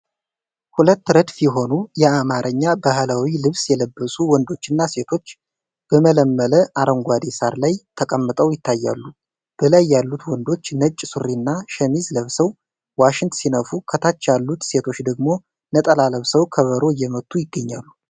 ሁለት ረድፍ የሆኑ የአማርኛ ባህላዊ ልብስ የለበሱ ወንዶችና ሴቶች በለመለመ አረንጓዴ ሳር ላይ ተቀምጠው ይታያሉ። በላይ ያሉት ወንዶች ነጭ ሱሪና ሸሚዝ ለብሰው ዋሽንት ሲነፉ፣ ከታች ያሉት ሴቶች ደግሞ ነጠላ ለብሰው ከበሮ እየመቱ ይገኛሉ።